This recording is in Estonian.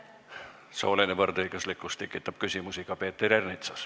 Sooline võrdõiguslikkus tekitab küsimusi ka Peeter Ernitsas.